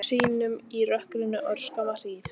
Hvarf hún sýnum í rökkrinu örskamma hríð.